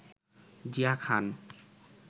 Zia Khan